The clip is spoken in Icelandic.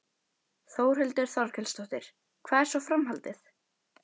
Þórhildur Þorkelsdóttir: Hvað er svo framhaldið?